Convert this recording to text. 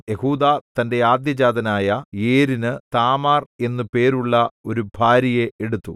യെഹൂദാ തന്റെ ആദ്യജാതനായ ഏരിനു താമാർ എന്നു പേരുള്ള ഒരു ഭാര്യയെ എടുത്തു